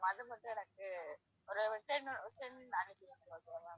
அத மட்டும் எனக்கு ஒரு okay ma'am